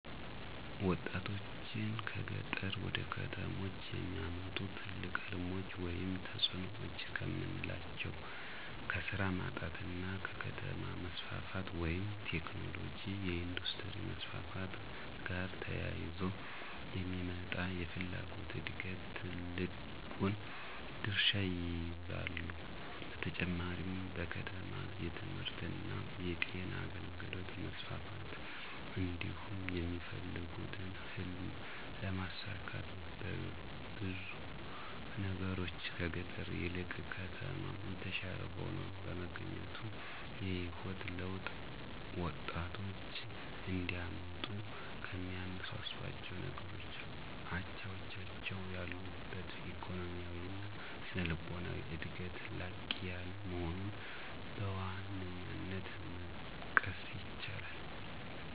ወጣቶችን ከገጠር ወደ ከተሞች የሚያመጡ ትልቅ ሕልሞች ወይም ተጽዕኖዎች ከምናላቸው ከስራ ማጣት እና ከከተማ መስፋፋት (ቴክኖሎጅ፣ የኢንዱስትሪ መስፋፋት )ጋር ተያይዞ የሚመጣ የፍላጎት ዕድገት ትልቁን ድርሻ ይይዛሉ። በተጨማሪም በከተማ የትምህርትእና የጤና አገልግሎት መስፋፋት እንዲሁም የሚፈልጉትን ህልም ለማሳካት በብዙ ነገሮች ከገጠር ይልቅ ከተማ የተሻለ ሆኖ በመገኘቱ። የህይወት ለውጥ ወጣቶች እንዲያመጡ ከሚያነሳሷቸው ነገሮች አቻዎቻቸው ያሉበት ኢኮኖሚያዊ እና ስነልቦናዊ ዕድገት ላቅ ያለ መሆኑን በዋነኛነት መጥቀስ ይቻላል።